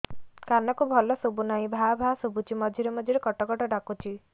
କାନକୁ ଭଲ ଶୁଭୁ ନାହିଁ ଭାଆ ଭାଆ ଶୁଭୁଚି ମଝିରେ ମଝିରେ କଟ କଟ ଡାକୁଚି